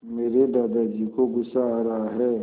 मेरे दादाजी को गुस्सा आ रहा है